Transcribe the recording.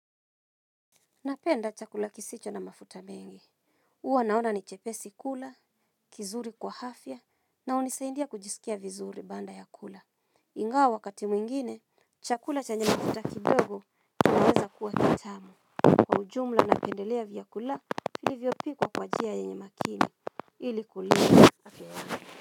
Napenda chakula kisicho na mafuta mengi huwa naona ni chepesi kula, kizuri kwa afya, na hunisaidia kujisikia vizuri baanda ya kula. Ingawa wakati mwingine, chakula chenye mafuta kidogo kinaweza kuwa kitamu. Kwa ujumla napendelea vyakula vilivyopikwa kwa njia yenye makini ili kulia ya safi wana.